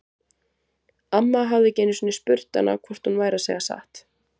Amma hafði ekki einu sinni spurt hana hvort hún væri að segja satt.